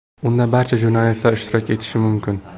Unda barcha jurnalistlar ishtirok etishi mumkin.